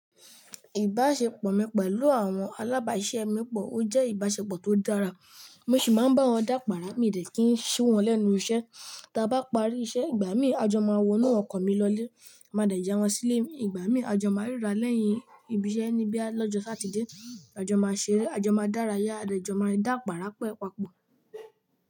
Ìbáṣepọ̀ mi pẹ̀lú àwọn alábàáṣẹ́ mi pọ̀, ó jẹ́ ìbáṣepọ̀ tó dára. Mo sì máa ń bá wọn dá pàrà mí dẹ̀ kí n ṣí wọn lẹ́nu iṣẹ́. Tí a bá parí iṣẹ́, ìgbà míì a jọ máa wọnú ọkọ̀ mi lọlé, máa dà ja wọn sílé. Ìgbà míì a jọ máa ríra lẹ́yìn ibi iṣẹ́ níbí à lọ́jọ́ Satide. A jọ máa ṣeré, a jọ máa dárayá, a jọ máa dà pàrà pẹ́ papọ̀.